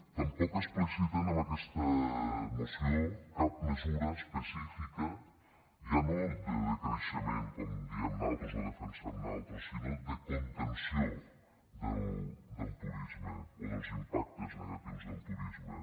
tampoc expliciten en aquesta moció cap mesura específica ja no de decreixement com diem nosaltres o defensem nosaltres sinó de contenció del turisme o dels impactes negatius del turisme